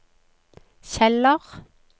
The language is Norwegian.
Kjeller